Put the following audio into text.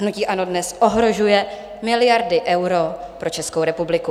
Hnutí ANO dnes ohrožuje miliardy eur pro Českou republiku.